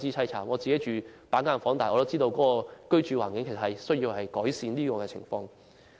雖然我自己住在板間房，但也明白改善居住環境的需要。